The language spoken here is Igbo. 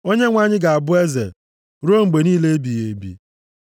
“ Onyenwe anyị ga-abụ eze ruo mgbe niile ebighị ebi.”